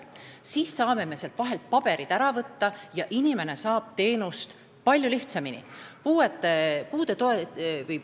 Siis saame sealt vahelt paberid ära võtta ja inimene saab teenust palju lihtsamini.